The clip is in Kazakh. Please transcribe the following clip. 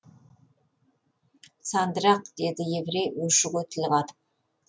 сандырақ деді еврей өшіге тіл қатып